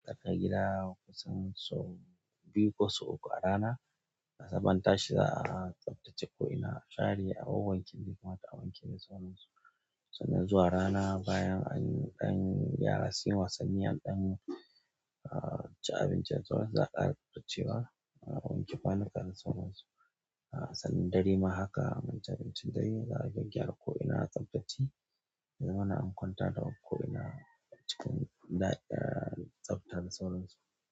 Daka gida kusan sau biyu ko sau uku a rana. Sabon tashi za a tsaftace ko'ina share a wanwanke duk wanda ya kamata a wanke da sauran su, sannan zuwa rana bayan an ɗan yara sun yi wasannin an ɗan an ci abinci da sauran su za'a ƙara tsabtacewa za'a wanke kwanuka da sauran su sannan dare ma haka an ci abincin dare za'a gyagygyara ko ina a tsabtace ya zamana an kwanta da ko ina a cikin da'irar. Tsafta da sauran su.